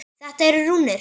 Þetta eru rúnir.